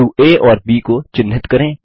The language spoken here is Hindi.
बिंदु आ और ब को चिन्हित करें